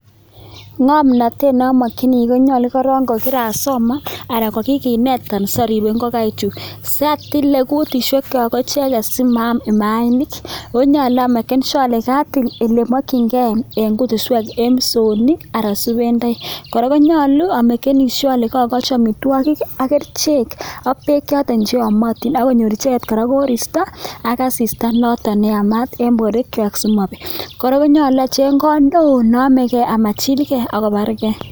Ng'omnotet nomokini konyolu korong kogirasoman anan kogikinetan soribe ngokaichu. Siatile kotuswekchwak ko icheget simaam imainik o nyolu ameken sure ole katil ele mokinge en kutuswek en psoonik ak subenoik. Kora konyolu ameken sure ole kogochi amitwogik ak kerichek ak beek choton che yomotin agonyor icheget kora koristo ak asista noton ne yamaat en borwekwag simobek. Kora ko nyolu acheng kot neo neyome ge ama chilge ak kobar ge.